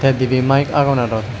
te dibe mike agon aro.